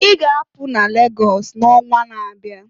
I ga-apụ n'Lagọs n'onwa n'abịa!"